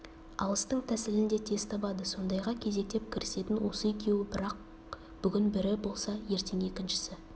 алыстың тәсілін де тез табады сондайға кезектеп кірісетін осы екеуі бірақ бүгін бірі болса ертең екіншісі